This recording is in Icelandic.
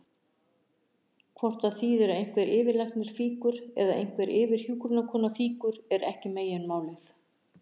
Hvort það þýðir að einhver yfirlæknir fýkur eða einhver yfirhjúkrunarkona fýkur er ekki meginmálið.